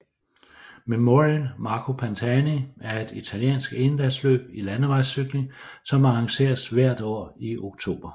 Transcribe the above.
Memorial Marco Pantani er et italiensk endagsløb i landevejscykling som arrangeres hvert år i oktober